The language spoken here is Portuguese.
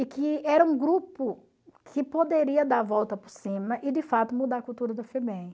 E que era um grupo que poderia dar a volta por cima e, de fato, mudar a cultura da Febem.